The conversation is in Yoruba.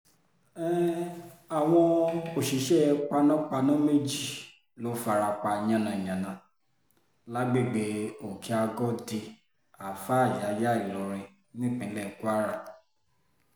um àwọn òṣìṣẹ́ panápaná méjì ló fara pa yànnà-yànnà lágbègbè òkè-àgọ́dì alfa yàyà ìlorin nípínlẹ̀ kwara